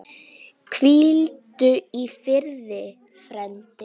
Hvíldu í friði, frændi.